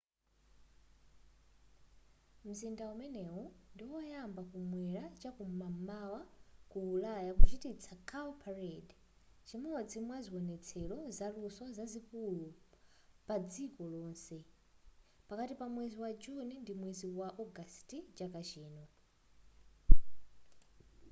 mzinda umenewu ndi oyamba kum'mwera chakum'mawa ku ulaya kuchititsa cowparade chimodzi mwa ziwonetsero zaluso zazikulu padziko lonse pakati pa mwezi wa juni ndi ndi mwezi wa ogasiti chaka chino